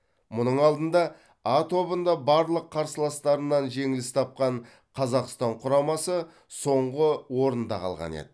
мұның алдында а тобында барлық қарсыластарынан жеңіліс тапқан қазақстан құрамасы соңғы орында қалған еді